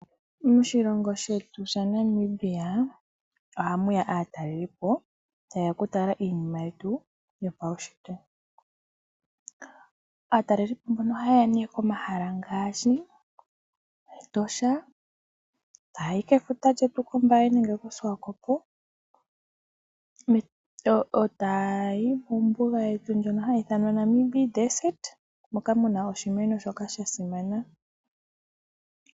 Moshilongo shetu ShaNamibia ohamuya aatalelipo tayeya oku tala iinima yetu yopaushitwe. Aatalelipo mbono ohayeya ne komahala ngaashi Etosha eta yayi kefuta lyetu kOmbaye nenge koSwakopo eta yayi kombuga yetu ndjono hayi ithanwa Namib desert moka muna oshimeno shoka shasimana.